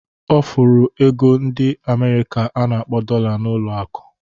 Ọ fụrụ ego ndi Amerịka a na-akpọ Dolla n'ụlọ akụ.